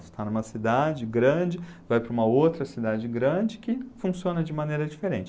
Você está numa cidade grande, vai para uma outra cidade grande que funciona de maneira diferente.